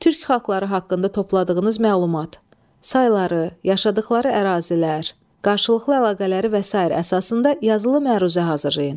Türk xalqları haqqında topladığınız məlumat, sayıları, yaşadıqları ərazilər, qarşılıqlı əlaqələri və sair əsasında yazılı məruzə hazırlayın.